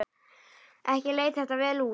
Ekki leit þetta vel út.